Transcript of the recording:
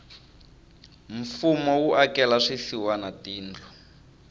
mfumo wu akela swisiwana tindlu